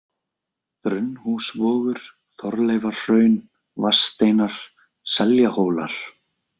Brunnhúsvogur, Þorleifarhraun, Vatnssteinar, Seljahólar